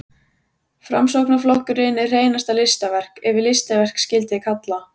Framsóknarflokkurinn er hreinasta listaverk, ef listaverk skyldi kalla.